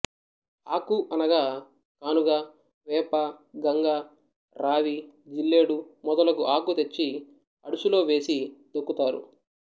ఆకు అనగా కానుగ వేప గంగ రావి జిల్లేడు మొదలగు ఆకు తెచ్చి అడుసు లో వేసి తొక్కుకాతారు